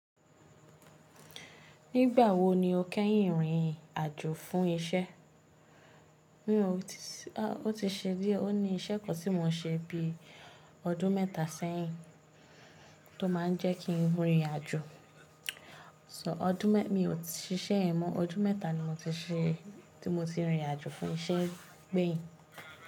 Nígbà wo ni o kẹ́yìn rìn àjò fún isẹ́? Ó ti ṣe díẹ̀. Ó ní isẹ́ kan tí mò ṣe bí i ọdún mẹ́ta sẹ́yìn tó máa n jẹ́ kí n rìn àjò. Mi ò sisẹ́ yẹn mọ́, ọdún mẹ́ta ni mo ti se tí mo ti rìnrìn àjò fún isẹ́ gbẹ̀yìn.